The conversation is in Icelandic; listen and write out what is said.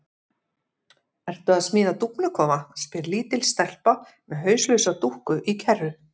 Ertu að smíða dúfnakofa? spyr lítil stelpa með hauslausa dúkku í kerru.